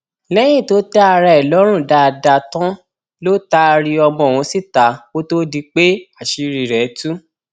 lẹyìn tó tẹ ara ẹ lọrùn dáadáa tán ló taari ọmọ ọhún síta kó tóó di pé àṣírí rẹ tú